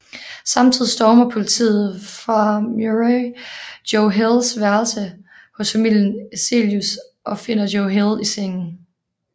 Samtidigt stormer politiet fra Murray Joe Hills værelse hos familien Eselius og finder Joe Hill i sengen